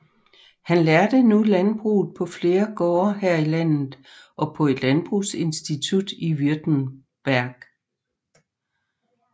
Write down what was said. Han lærte nu landbruget på flere gårde her i landet og på et landbrugsinstitut i Württemberg